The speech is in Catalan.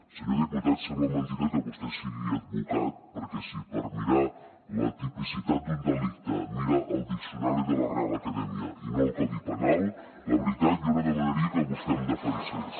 senyor diputat sembla mentida que vostè sigui advocat perquè si per mirar la tipicitat d’un delicte mira el diccionari de la real academia i no el codi penal la veritat jo no demanaria que vostè em defensés